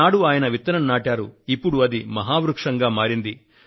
అలనాడు ఆయన విత్తనం నాటారు ఇప్పడు అది మహావృక్షంగా మారింది